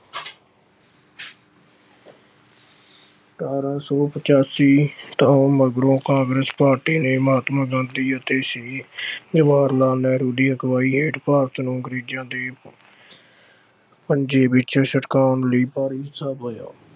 ਅਠ੍ਹਾਰਾਂ ਸੌ ਪਚਾਸੀ ਤੋਂ ਮਗਰੋਂ ਕਾਂਗਰਸ ਪਾਰਟੀ ਨੇ ਮਹਾਤਮਾ ਗਾਂਧੀ ਅਤੇ ਸ਼੍ਰੀ ਅਹ ਜਵਾਹਰ ਲਾਲ ਨਹਿਰੂ ਦੀ ਅਗਵਾਈ ਹੇਠ ਭਾਰਤ ਨੂੰ ਅੰਗਰੇਜ਼ਾਂ ਦੇ ਪੰਜੇ ਵਿੱਚੋਂ ਛਡਾਉਣ ਲਈ ਭਾਰੀ ਹਿੱਸਾ ਪਾਇਆ।